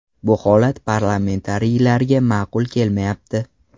Bu holat parlamentariylarga ma’qul kelmayapti.